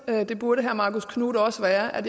at